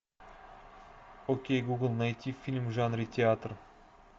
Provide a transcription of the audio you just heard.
окей гугл найти фильм в жанре театр